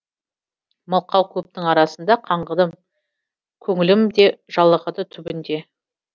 мылқау көптің арасында қаңғыдым көңілім де жалығады түбінде